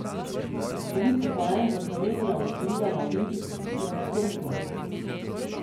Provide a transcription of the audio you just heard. Koliko kolajn bo Slovenija osvojila na olimpijskih igrah v Sočiju?